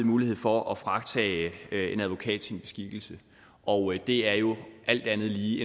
mulighed for at fratage en advokat sin beskikkelse og det er jo alt andet lige